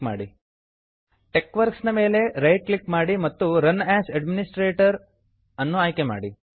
TeXworks TeXworks ನ ಮೇಲೆ right click ಮಾಡಿ ಮತ್ತು run as administrator run as administrator ಅನ್ನು ಆಯ್ಕೆ ಮಾಡಿ